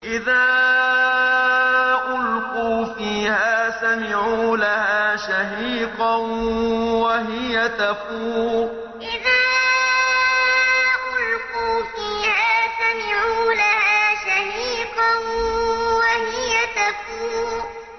إِذَا أُلْقُوا فِيهَا سَمِعُوا لَهَا شَهِيقًا وَهِيَ تَفُورُ إِذَا أُلْقُوا فِيهَا سَمِعُوا لَهَا شَهِيقًا وَهِيَ تَفُورُ